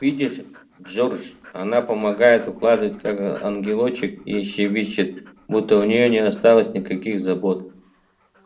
видишь джордж она помогает укладывать как ангелочек и щебечет будто у неё не осталось никаких забот